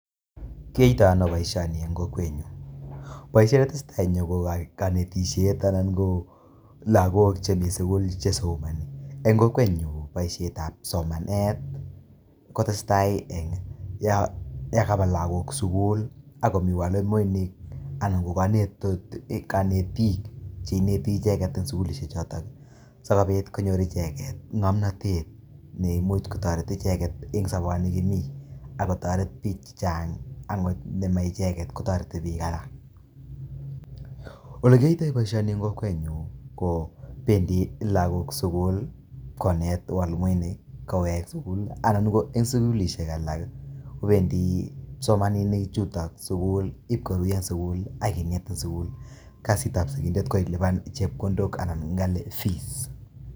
Kiyoitono boishoni en kokwenyun, boishet netesetai en yuu ko konetishet anan ko lokok chemii sukul shesomoni en kokwenyun boishet ab somanet kotesetai en yon kaba lokok sukul ak komii mwalimuinik anan ko konetu konetik cheineti icheket en sukulishek choton sikobit konyor icheket ngomnotet ne imuch kotoret icheket en soboni kimii ak kotoret bik chechang akot ndomong icheket kotoretin bik alak. Olekiyoito boishonik en kokwenyun ko pendii lokok sukul konet mwalimuinik ko wee sukul lii anan ko en sukulishek alak kopendii kipsomaninik chuton sukul lii ibkoruyo ak kinet en sukul kasit ab sikindet ko ilipan chepkondok anan ko ilipan fees.